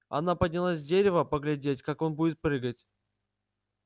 она поднялась с дерева поглядеть как он будет прыгать